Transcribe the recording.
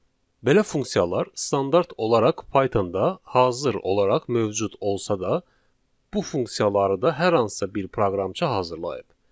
Belə funksiyalar standart olaraq Pythonda hazır olaraq mövcud olsa da, bu funksiyaları da hər hansısa bir proqramçı hazırlayıb.